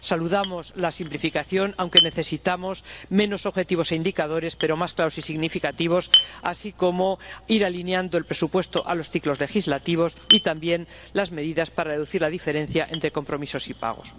Saludamos la simplificación, aunque necesitamos menos objetivos e indicadores, pero más claros y significativos, así como ir alineando el presupuesto a los ciclos legislativos y también medidas para reducir la diferencia entre compromisos y pagos.